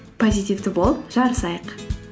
позитивті болып жарысайық